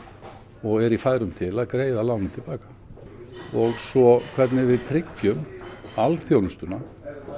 og er í færum til að greiða lánið til baka og svo hvernig við tryggjum alþjónustuna